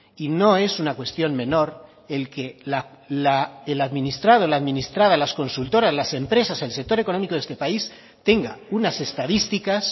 y no es una cuestión menor el que el administrado la administrada las consultoras las empresas el sector económico de este país tenga unas estadísticas